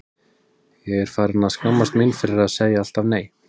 Ég er farin að skammast mín fyrir að segja alltaf nei.